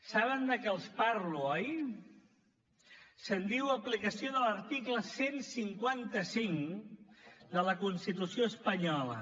saben de què els parlo oi se’n diu aplicació de l’article cent i cinquanta cinc de la constitució espanyola